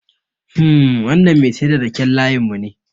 Hmm, wannan Mai saida raken layin mune